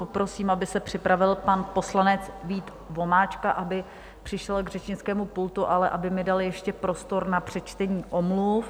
Poprosím, aby se připravil pan poslanec Vít Vomáčka, aby přišel k řečnickému pultu, ale aby mi dal ještě prostor na přečtení omluv.